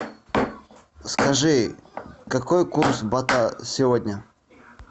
скажи какой курс бата сегодня